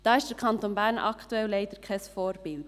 Da ist der Kanton Bern aktuell leider kein Vorbild.